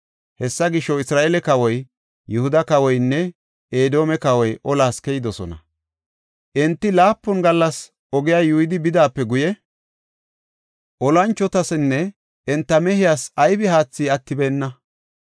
Hessa gisho, Isra7eele kawoy, Yihuda kawoynne Edoome kawoy olas keyidosona. Enti laapun gallasa oge yuuyidi bidaape guye, olanchotasinne enta mehiyas aybi haathi attibeenna.